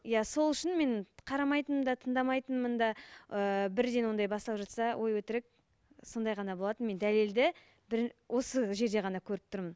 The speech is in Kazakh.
иә сол үшін мен қарамайтынмын да тыңдамайтынмын да ііі бірден ондай басталып жатса өй өтірік сондай ғана болатын мен дәлелді бір осы жерде ғана көріп тұрмын